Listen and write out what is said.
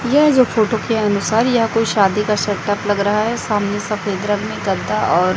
यह जो फोटो के अनुसार या कोई शादी का सेटअप लग रहा है सामने सफेद रंग में गद्दा और--